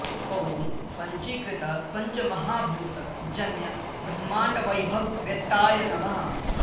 ॐ पञ्चीकृत पञ्चमहाभूत जन्य ब्रह्माण्ड वैभव वेत्ताय नमः